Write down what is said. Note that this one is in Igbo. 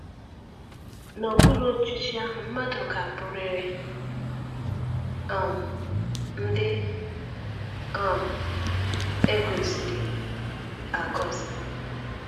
N’okpuru ọchịchị ahụ, mmadụ ga-abụrịrị um ndị um e gọziri agọzi.